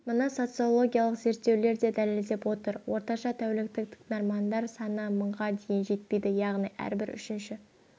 мұны социологиялық зерттеулер де дәлелдеп отыр орташа тәуліктік тыңдармандар саны мыңға дейін жетеді яғни әрбір үшінші